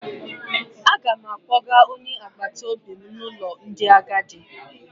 Aga m akpọga onye agbataobi m n'ụlọ ndị agadi.